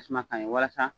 Tasuma kaɲi walasa